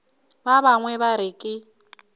ba bangwe ba re ke